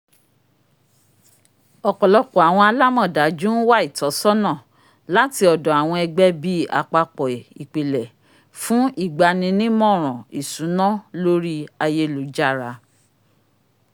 ọpọlọpọ awọn alamọdaju n wa itọsọna lati ọdọ awọn ẹgbẹ bii àpapọ ìpìlẹ̀ fun igbaninimoran ìṣúná lori ayélujára